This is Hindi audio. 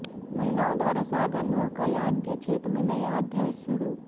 महिलाओं द्वारा सागर नौकायन के क्षेत्र में नया अध्याय शुरू